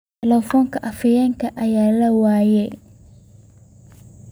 Telefoonka afhayeenka ayaa la waayay.